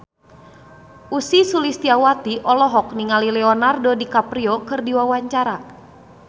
Ussy Sulistyawati olohok ningali Leonardo DiCaprio keur diwawancara